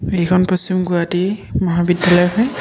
এইখন পশ্চিম গুৱাহাটী মহাবিদ্যালয় হয়।